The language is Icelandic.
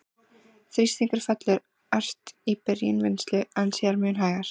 Þrýstingur fellur ört í byrjun vinnslu, en síðan mun hægar.